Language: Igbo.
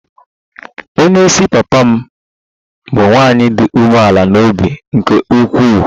Onye isi papa m bụ nwanyị dị umeala n'obi nke ukwuu